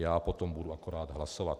Já potom budu akorát hlasovat.